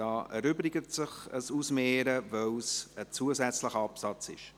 Hier erübrigt sich ein Ausmehren, weil es ein zusätzlicher Absatz ist.